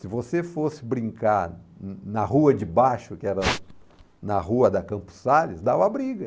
Se você fosse brincar na rua de baixo, que era na rua da Campos Salles, dava briga.